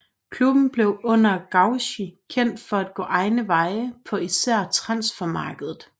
Klubben blev under Gaucci kendt for at gå egne veje på især transfermarkedet